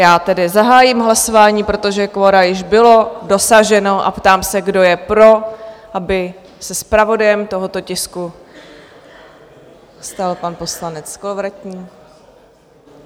Já tedy zahájím hlasování, protože kvora již bylo dosaženo, a ptám se, kdo je pro, aby se zpravodajem tohoto tisku stal pan poslanec Kolovratník?